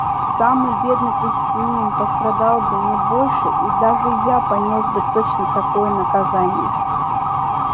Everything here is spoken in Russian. самый бедный крестьянин пострадал бы не больше и даже я понёс бы точно такое наказание